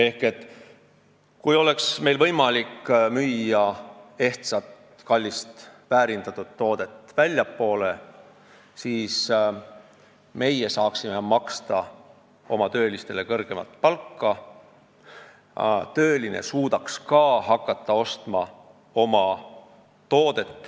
Kui meil oleks võimalik müüa ehtsat kallist väärindatud toodet väljapoole, siis me saaksime oma töölistele kõrgemat palka maksta ja nemad suudaks ka omatooteid ostma hakata.